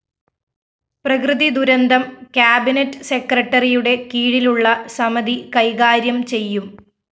പ്രകൃതി ദുരന്തം കാബിനറ്റ്‌ സെക്രട്ടറിയുടെ കീഴിലുള്ള സമതി കൈകാര്യം ചെയ്യും